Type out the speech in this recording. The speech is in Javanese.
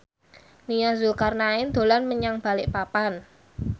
Nia Zulkarnaen dolan menyang Balikpapan